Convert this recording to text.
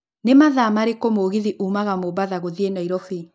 nĩ mathaa marĩku mũgithi ũmaga mombatha gũthiĩ nairobi